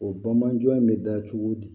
O bamanan jɔn in bɛ da cogo di